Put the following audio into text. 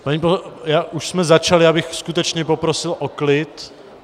Už jsme začali, já bych skutečně poprosil o klid.